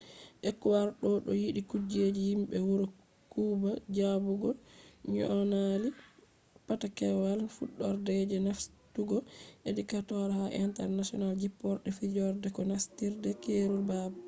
ekuador do yiɗi kuje yimɓe wuro kuba jabugo nyonali patakewal fudorde je nastugo ecuador ha je international jipporde firooje ko nastirde keerol baabe